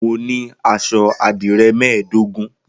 Mo ní aṣọ àdìrẹ́ mẹ́ẹ̀dógún.